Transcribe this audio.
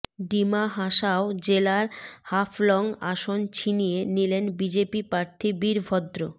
ডিমা হাসাও জেলার হাফলং আসন ছিনিয়ে নিলেন বিজেপি প্রার্থী বীরভদ্র